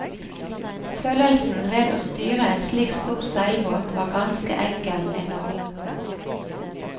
Følelsen ved å styre en slik stor seilbåt var ganske enkel enorm.